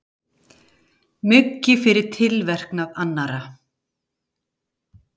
Muggi fyrir tilverknað annarra.